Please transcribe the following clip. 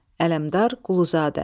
Ələmdar Quluzadə.